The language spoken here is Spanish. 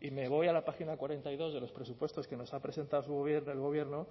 y me voy a la página cuarenta y dos de los presupuestos que nos ha presentado el gobierno